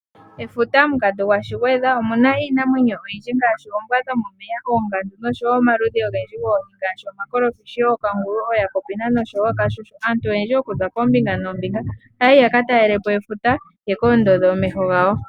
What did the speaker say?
Efuta omukatu gwaShigwedha omu na iinamwenyo oyindji ngaashi ombwa dho momomeya noshowo omaludhi ogendji goohi ngaashi omakolofishi, ookangulu, oojakopina, noshowo ookashushu. Aantu oyendji okuza koombinga noombinga ohaya yi ya ka talelepo efuta ya ka ondodhe omeho gawo.